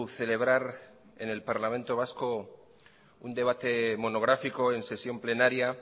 celebrar en el parlamento vasco un debate monográfico en sesión plenaria